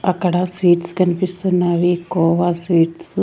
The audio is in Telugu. అక్కడ స్వీట్స్ కనిపిస్తున్నవి కోవా స్వీట్స్ .